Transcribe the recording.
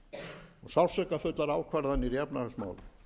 og sársaukafullar ákvarðanir í efnahagsmálum